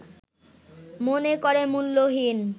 মনে করে মূল্যহীন